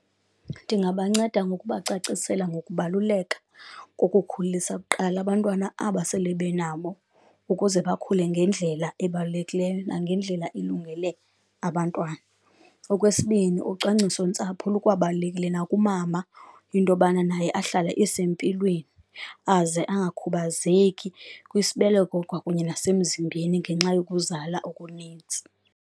Ndingabanceda ngokubacacisela ngokubaluleka kokukhulisa kuqala abantwana aba sele benabo ukuze bakhule ngendlela ebalulekileyo nangendlela ilungele abantwana. Okwesibini, ucwangcisontsapho lukwababalulekile nakumama into yobana naye ahlale esempilweni, aze angakhubazeki kwisibeleko kwakunye nasemzimbeni ngenxa yokuzala okunintsi.